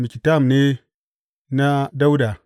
Miktam ne na Dawuda.